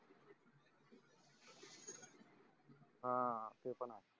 हा ते पण आहे